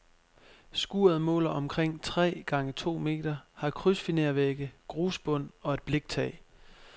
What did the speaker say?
Skuret måler omkring tre gange to meter, har krydsfinervægge, grusbund og et bliktag.